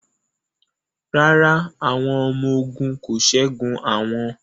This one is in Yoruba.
Rárá, àwọn ọmọ ogun kò ṣẹ́gun àwọn